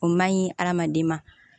O man ɲi hadamaden ma